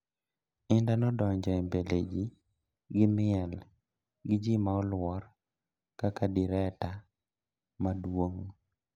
Indah nodonjo e mbele ji gi miel gi ji ma olwor kaka direta maduong.